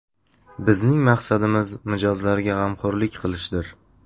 Bizning maqsadimiz mijozlarga g‘amxo‘rlik qilishdir.